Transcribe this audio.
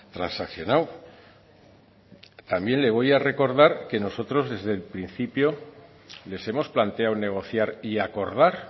transaccionado también le voy a recordar que nosotros desde el principio les hemos planteado negociar y acordar